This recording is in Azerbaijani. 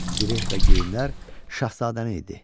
Zireh və geyimlər şahzadənin idi.